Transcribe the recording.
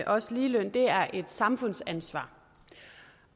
også ligeløn er et samfundsansvar